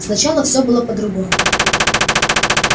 сначала всё было по-другому